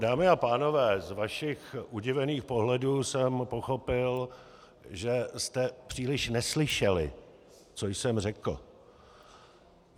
Dámy a pánové, z vašich udivených pohledů jsem pochopil, že jste příliš neslyšeli, co jsem řekl.